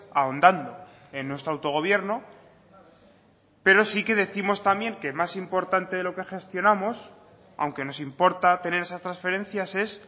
ahondando en nuestro autogobierno pero sí que décimos también que más importante de lo que gestionamos aunque nos importa tener esas transferencias es